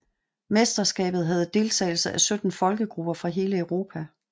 Mesterskabet havde deltagelse af 17 folkegrupper fra hele Europa